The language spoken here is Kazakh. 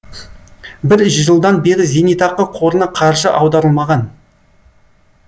бір жылдан бері зейнетақы қорына қаржы аударылмаған